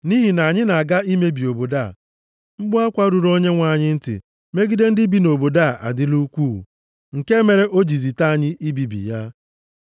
Nʼihi na anyị na-aga imebi obodo a, mkpu akwa ruru Onyenwe anyị ntị megide ndị bi nʼobodo a adịla ukwuu, nke mere o ji zite anyị ibibi ya.”